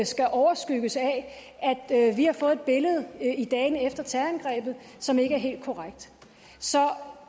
skal overskygges af at vi har fået et billede i dagene efter terrorangrebet som ikke er helt korrekt så